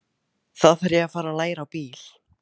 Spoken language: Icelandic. Þá þarf ég að fara að læra á bíl.